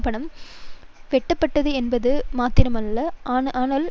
பணம் வெட்டப்படுகின்றது என்பது மாத்திரமல்ல ஆனால்